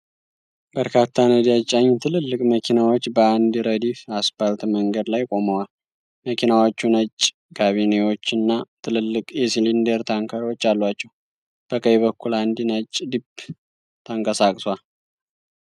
በርካታ ነዳጅ ጫኝ ትልልቅ መኪናዎች በአንድ ረድፍ አስፓልት መንገድ ላይ ቆመዋል። መኪናዎቹ ነጭ ካቢናዎችና ትልልቅ የሲሊንደር ታንከሮች አሏቸው። በቀኝ በኩል አንድ ነጭ ጂፕ ተንቀሳቅሷል።